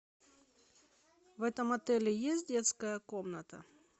в этом отеле есть детская комната